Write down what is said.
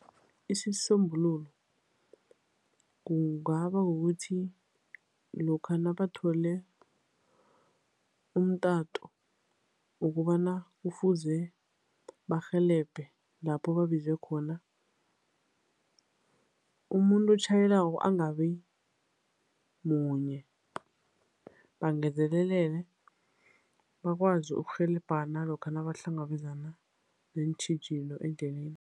Isisombululo kungaba kukuthi lokha nabathole umtato wokobana kufuze barhelebhe lapho babizwe khona, umuntu otjhayelako angabimunye, bangezelelele bakwazi ukurhelebhana lokha nabahlangabezana neentjhijilo endleleni.